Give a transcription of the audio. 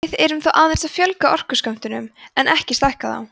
við erum þá aðeins að fjölga orkuskömmtunum en ekki að stækka þá